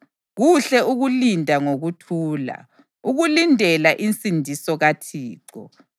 kuhle ukulinda ngokuthula, ukulindela insindiso kaThixo.